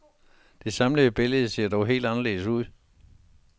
Det samlede billede ser dog helt anderledes ud.